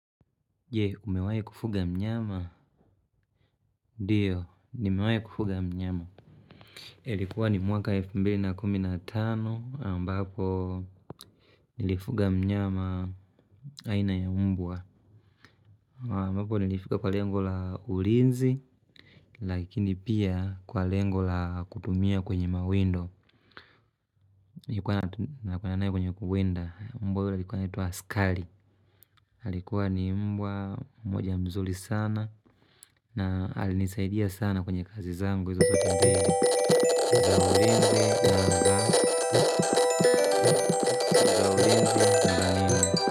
Jee, umewahi kufuga mnyama? Ndiyo, nimewahi kufuga mnyama. Ilikuwa ni mwaka 2015 ambapo nilifuga mnyama aina ya mbwa. Ambapo nilifika kwa lengo la ulinzi, lakini pia kwa lengo la kutumia kwenye mawendo. Nikuwa na yeye kwenye kwenye kuwenda, mbwa yule alikuwa anaitwa askari. Alikuwa ni mbwa, mmoja mzuri sana na alinisaidia sana kwenye kazi zangu.